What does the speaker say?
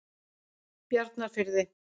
Bjarnarfirði